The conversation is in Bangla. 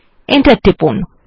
এন্টার টিপুন